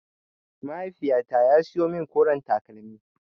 Mahaiifyata ya siyo min koren takalmi.